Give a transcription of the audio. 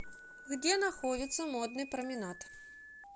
где находится модный променад